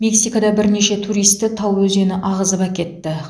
мексикада бірнеше туристі тау өзені ағызып әкетті